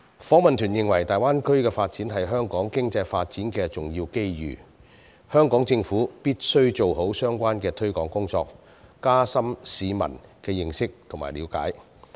訪問團認為大灣區的發展是香港經濟發展的重要機遇，香港政府必須做好相關的推廣工作，加深市民的認識和了解。